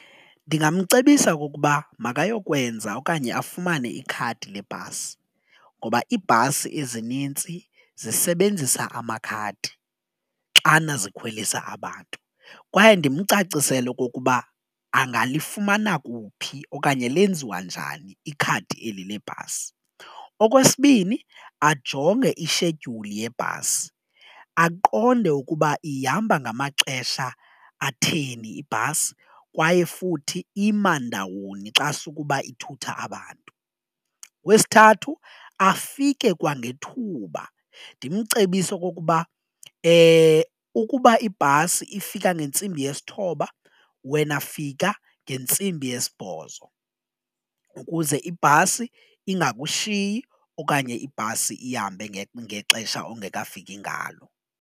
Ndingamcebisa okokuba makayokwenza okanye afumane ikhadi lebhasi ngoba iibhasi ezinintsi zisebenzisa amakhadi xana zikhwelisa abantu kwaye ndimcacisele okokuba angalifumana kuphi okanye lenziwa njani ikhadi eli le bhasi. Okwesibini ajonge ishedyuli yebhasi aqonde ukuba ihamba ngamaxesha atheni ibhasi kwaye futhi ima ndawoni xa sukuba ithutha abantu. Okwesithathu afike kwangethuba ndimcebise okokuba ukuba ibhasi ifika ngentsimbi yesithoba wena fika ngentsimbi yesibhozo ukuze ibhasi ingakushinyi okanye ibhasi ihambe ngexesha ongekafiki ngalo.